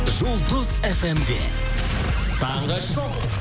жұлдыз фм де таңғы шоу